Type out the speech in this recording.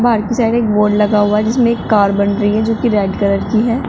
बाहर की साइड एक बोर्ड लगा हुआ है जिसमें एक कार बन रही है जोकि रेड कलर की है।